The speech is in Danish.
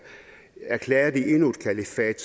erklærer de endnu et kalifat